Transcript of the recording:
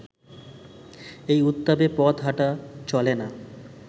এ উত্তাপে পথ হাঁটা চলে না